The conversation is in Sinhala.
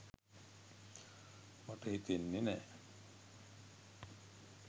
මට හිතෙන්නෙ නෑ